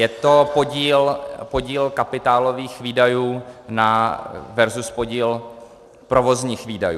Je to podíl kapitálových výdajů versus podíl provozních výdajů.